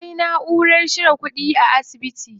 Akwai naʼurar cire kuɗi a asibiti.